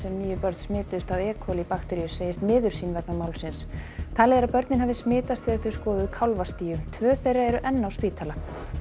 níu börn smituðust af e bakteríu segist miður sín vegna málsins talið er að börnin hafi smitast þegar þau skoðuðu tvö þeirra eru enn á spítala